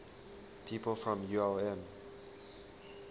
people from ulm